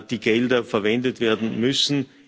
die Gelder verwendet werden müssen.